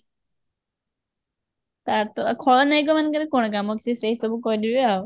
ତାର ତ ଖଳନାୟିକା ମାନଙ୍କର କଣ କମ କି ସେ ସେସବୁ କରିବେ